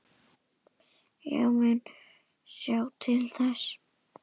Ég mun sjá til þess.